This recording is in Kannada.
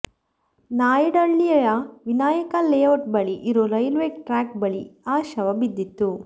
ನಾಯಂಡಳ್ಳಿಯ ವಿನಾಯಕ ಲೇಔಟ್ ಬಳಿ ಇರೋ ರೈಲ್ವೇ ಟ್ರ್ಯಾಕ್ ಬಳಿ ಆ ಶವ ಬಿದ್ದಿತ್ತು